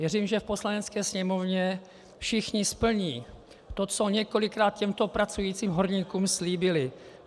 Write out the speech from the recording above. Věřím, že v Poslanecké sněmovně všichni splní to, co několikrát těmto pracujícím horníkům slíbili.